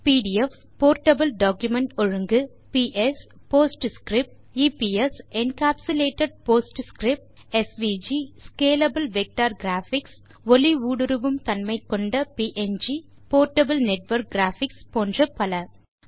PDF portable document ஒழுங்கு PS PostScript EPS encapsulated PostScript SVG scalable vector graphics ஒளி ஊடுருவும் தன்மை கொண்ட ப்ங் போர்ட்டபிள் நெட்வொர்க் கிராபிக்ஸ் போன்ற பல